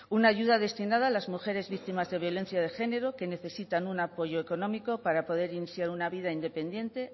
una ayuda destinada a las mujeres víctimas de violencia de género que necesitan un apoyo económico para poder iniciar una vida independiente